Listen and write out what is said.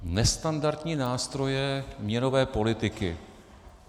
Nestandardní nástroje měnové politiky.